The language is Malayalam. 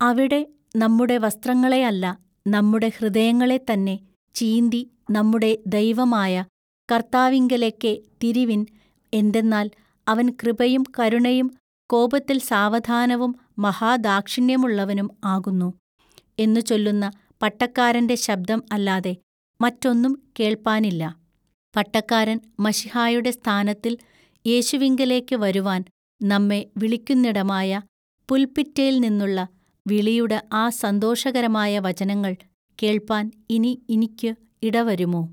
അവിടെ നമ്മുടെ വസ്ത്രങ്ങളെയല്ല നമ്മുടെ ഹൃദയങ്ങളെ തന്നെ ചീന്തി നമ്മുടെ ദൈവമായ കൎത്താവിങ്കലെക്കെ തിരിവിൻ എന്തെന്നാൽ അവൻ കൃപയും കരുണയും കോപത്തിൽ സാവധാനവും മഹാ ദാക്ഷിണ്യമുള്ളവനും ആകുന്നു" എന്നു ചൊല്ലുന്ന പട്ടക്കാരന്റെ ശബ്ദം അല്ലാതെ മറ്റൊന്നും കേൾപ്പാനില്ല, പട്ടക്കാരൻ മശിഹായുടെ സ്ഥാനത്തിൽ യേശുവിങ്കലേക്കു വരുവാൻ നമ്മെ വിളിക്കുന്നിടമായ പുൽപിറ്റേൽനിന്നുള്ള വിളിയുടെ ആ സന്തോഷകരമായ വചനങ്ങൾ കേൾപ്പാൻ ഇനി ഇനിക്കു ഇടവരുമൊ.